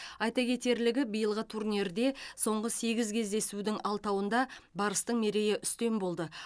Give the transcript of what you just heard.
айта кетерлігі биылғы турнирде соңғы сегіз кездесудің алтауында барыстың мерейі үстем болды